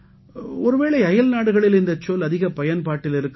ஒருவேளை அயல்நாடுகளில் இந்தச் சொல் அதிகப் பயன்பாட்டில் இருக்கலாம்